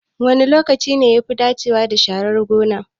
Wane lokaci ne yafi dacewa da sharar gona?